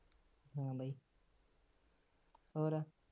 ਹਾ ਬਾਈ ਹੋਰ